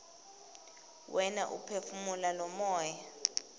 wena uphefumula lomoya